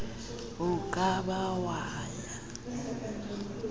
o ka ba wa ya